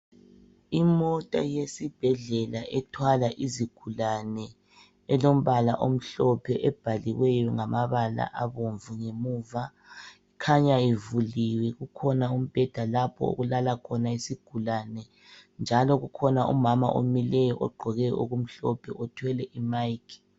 Imota yesibhedlela ethwala izigulani elombala omhlophe ebhaliweyo ngamabala abomvu ngemuva khanya ivuliwe ukhona umbheda lapho okulala khona izigulani njalo ukhona umama omileyo othwele i mic